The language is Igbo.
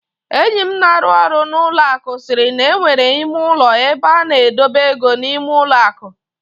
Enyi m na-arụ ọrụ n'ụlọ akụ siiri na e nwere ime ụlọ ebe a na-edobe ego n'ime ụlọ akụ.